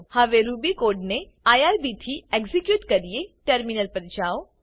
હવે Ruby code ને irbથી એક્ઝેક્યુટ કરીએ ટર્મિનલ પર જાઓ